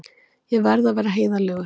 Ég verð að vera heiðarlegur.